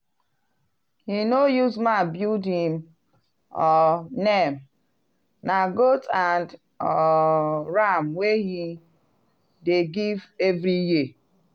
him no use mouth build him um name - na goat and um ram wey he dey give every year.